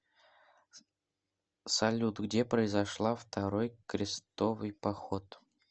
салют где произошла второй крестовый поход